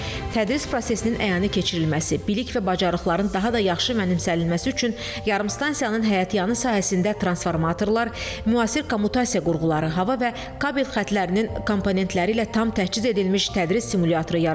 Tədris prosesinin əyani keçirilməsi, bilik və bacarıqların daha da yaxşı mənimsənilməsi üçün yarımstansiyanın həyətyanı sahəsində transformatorlar, müasir kommutasiya qurğuları, hava və kabel xəttlərinin komponentləri ilə tam təchiz edilmiş tədris simulyatoru yaradılıb.